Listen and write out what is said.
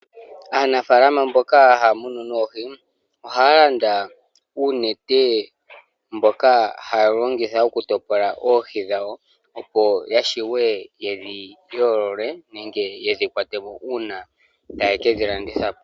Aanafalama mboka haya munu noohi ohaa landa uunete mboka woku topola oohi dhawo opo ya shiwe yedhi yoolole nenge yedhi kwatemo una taye kedhi landitha po.